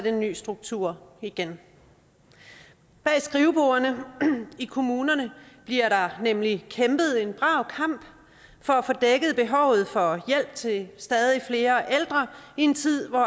en ny struktur igen bag skrivebordene i kommunerne bliver der nemlig kæmpet en brav kamp for at få dækket behovet for hjælp til stadig flere ældre i en tid hvor